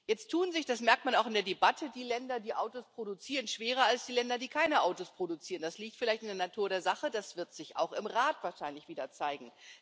Jetzt tun sich das merkt man auch in der Debatte die Länder, die Autos produzieren, schwerer als die Länder, die keine Autos produzieren. Das liegt vielleicht in der Natur der Sache, das wird sich auch im Rat wahrscheinlich wieder zeigen.